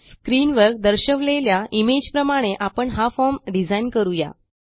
स्क्रीनवर दर्शवलेल्या इमेज प्रमाणे आपण हा फॉर्म डिझाईन करू या